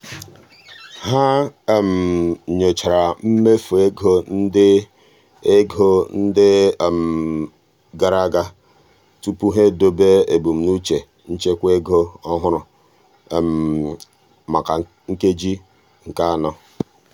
ha um nyochara mmefu ego ndị ego ndị um gara aga tupu ha edobe ebumnuche nchekwa ego ọhụrụ maka nkeji nke anọ.